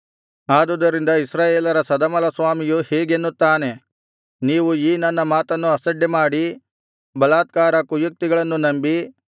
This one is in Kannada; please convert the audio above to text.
ಆದುದರಿಂದ ಇಸ್ರಾಯೇಲರ ಸದಮಲಸ್ವಾಮಿಯು ಹೀಗೆನ್ನುತ್ತಾನೆ ನೀವು ಈ ನನ್ನ ಮಾತನ್ನು ಅಸಡ್ಡೆಮಾಡಿ ಬಲಾತ್ಕಾರ ಕುಯುಕ್ತಿಗಳನ್ನು ನಂಬಿ